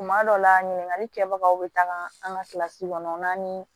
Tuma dɔw la ɲininkali kɛbagaw bɛ taga an ka kilasi kɔnɔnna ni